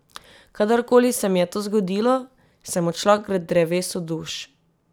Kadar koli se mi je to zgodilo, sem odšla k drevesu duš.